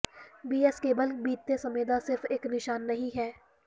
B X cable ਬੀਤੇ ਸਮੇਂ ਦਾ ਸਿਰਫ ਇਕ ਨਿਸ਼ਾਨ ਨਹੀਂ ਹੈ